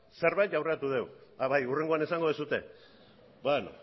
zerbait aurreratu dugu a bai hurrengoan esango duzue